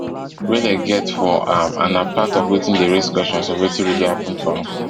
wey dem get for am and na part of wetin dey raise questions of wetin really happun to am